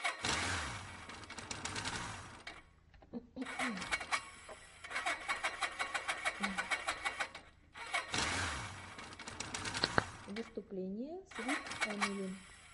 выступление свит эмили